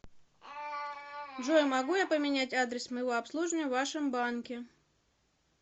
джой могу я поменять адресс моего обслуживания в вашем банке